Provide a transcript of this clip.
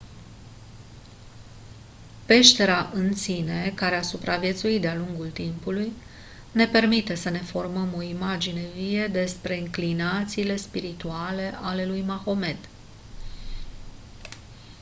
peștera în sine care a supraviețuit de-a lungul timpului ne permite să ne formăm o imagine vie despre înclinațiile spirituale ale lui mahomed